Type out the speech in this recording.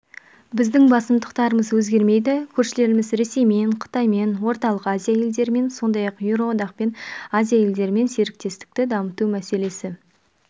біздің басымдықтарымыз өзгермейді көршілеріміз ресеймен қытаймен орталық азия елдерімен сондай-ақ еуроодақпен азия елдерімен серіктестікті дамыту мәселесі